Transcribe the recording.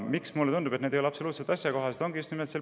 Miks mulle tundub, et need ei ole absoluutselt asjakohased?